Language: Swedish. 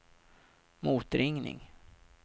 motringning